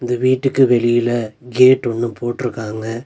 இந்த வீட்டுக்கு வெளில கேட் ஒன்னு போட்ருக்காங்க.